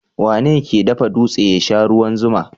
Wane ke dafa dutse ya sha ruwan zuma?